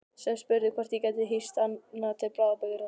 Sem spurði hvort ég gæti hýst hana til bráðabirgða.